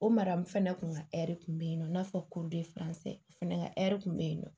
O mara n fana kun ka kun be yen nɔ i n'a fɔ fɛnɛ ka ɛri kun bɛ yen nɔ